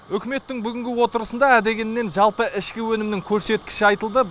үкіметтің бүгінгі отырысында ә дегеннен жалпы ішкі өнімнің көрсеткіші айтылды